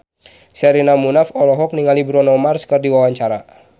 Sherina Munaf olohok ningali Bruno Mars keur diwawancara